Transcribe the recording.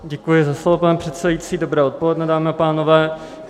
Děkuji za slovo, pane předsedající, dobré odpoledne, dámy a pánové.